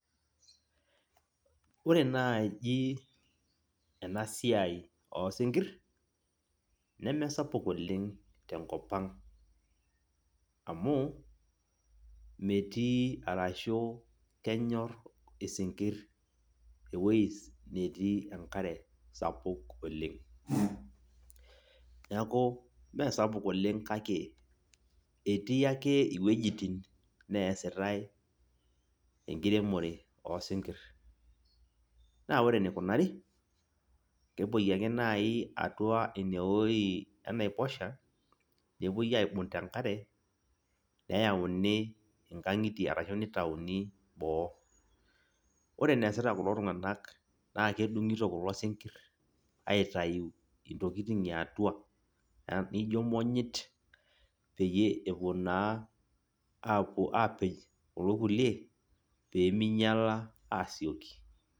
Ore naji enasiai osinkir, nemesapuk oleng tenkop ang. Amu, metii arashu kenyor isinkirr ewoi netii enkare sapuk oleng. Neeku mesapuk oleng kake, etii ake iwuejiting neesitai enkiremore osinkir. Na ore enikunari, kepoi ake nai atua inewoi enaiposha, nepoi aibung' tenkare, neyauni inkang'itie ashu nitauni boo. Ore eneesita kulo tung'anak naa kedung'ito kulo sinkirr aitayu intokiting eatua, nijo monyit, peyie epuo naa apuo apej kulo kulie, peminyala asioki.